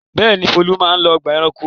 Bẹ́ẹ̀ni, Folu máa ń lọ ọgbà-ẹranko.